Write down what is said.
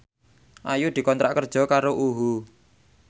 Ayu dikontrak kerja karo UHU